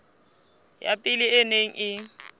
ya pele e neng e